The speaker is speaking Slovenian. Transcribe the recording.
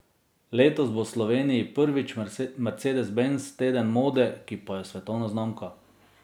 Letos bo v Sloveniji prvič Mercedes Benz teden mode, ki pa je svetovna znamka.